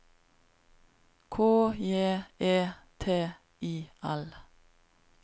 K J E T I L